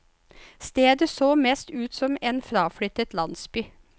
Stedet så mest ut som en fraflyttet landsby.